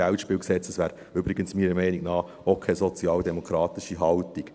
Das wäre meiner Meinung nach übrigens auch keine sozialdemokratische Haltung.